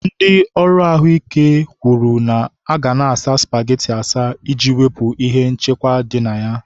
Ndị ọrụ ahụ ike kwuru ka a na-asa spageti asa, iji wepụ ihe nchekwa dị na ya.